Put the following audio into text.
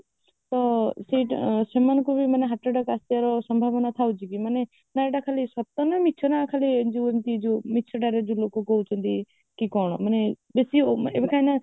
ତ ସେମାନଙ୍କୁ ମାନେ heart attack ଆସିବାର ସମ୍ଭାବନା ଥାଏ କି ମାନେ ମାନେ ଏଗୁଡା ସବୁ ସତ ନା ମିଛ ନା ଖାଲି ଯୋଉ ଏମିତି ଯୋଉ ମିଛଟାରେ ଯୋଉ ଲୋକ କହୁଛନ୍ତି କି କଣ ମାନେ ବେଶି